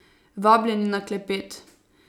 Vabljeni na klepet!